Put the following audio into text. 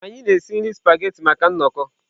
Anyị na-esi nri spaghetị maka nnọkọ.